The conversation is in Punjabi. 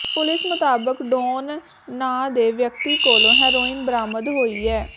ਪੁਲਸ ਮੁਤਾਬਕ ਡੌਨ ਨਾਂ ਦੇ ਵਿਅਕਤੀ ਕੋਲੋਂ ਹੈਰੋਇਨ ਬਰਾਮਦ ਹੋਈ ਐ